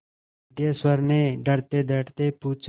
सिद्धेश्वर ने डरतेडरते पूछा